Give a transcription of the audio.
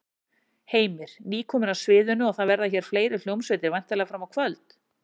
Heimir: Nýkomin af sviðinu og það verða hér fleiri hljómsveitir væntanlega fram á kvöld?